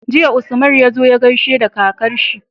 Jiya Usman yazo ya gaishe da kakar shi